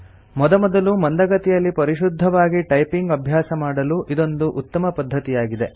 ಮೊದಮೊದಲು ಮಂದಗತಿಯಲ್ಲಿ ಪರಿಶುದ್ಧವಾಗಿ ಟೈಪಿಂಗ್ ಅಭ್ಯಾಸ ಮಾಡಲು ಇದೊಂದು ಉತ್ತಮ ಪದ್ಧತಿಯಾಗಿದೆ